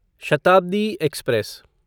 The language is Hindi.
शताब्दी एक्सप्रेस